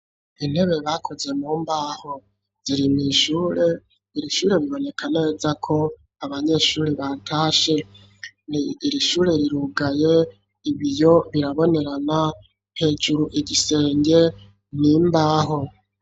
Intebe, bakoze mu mbaho, ziri mw'ishure; iri shure, biboneka neza ko, abanyeshuri batashe; ni iri shure rirugaye, ibiyo birabonerana, hejuru, igisenge ni imbaho.